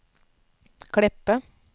Kleppe